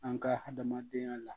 An ka hadamadenya la